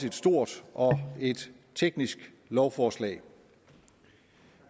et stort og teknisk lovforslag